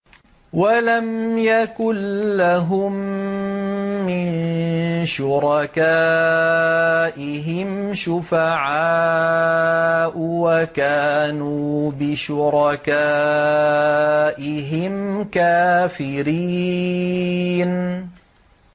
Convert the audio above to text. وَلَمْ يَكُن لَّهُم مِّن شُرَكَائِهِمْ شُفَعَاءُ وَكَانُوا بِشُرَكَائِهِمْ كَافِرِينَ